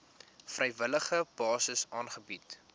vrywillige basis aangebied